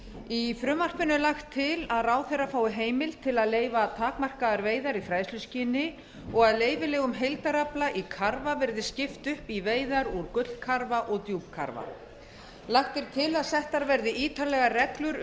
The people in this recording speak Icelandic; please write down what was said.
í frumvarpinu er lagt til að ráðherra fái heimild til að leyfa takmarkaðar veiðar í fræðsluskyni og að leyfilegum heildarafla í karfa verði skipt upp í veiðar úr gullkarfa og djúpkarfa lagt er til að settar verði ítarlegar reglur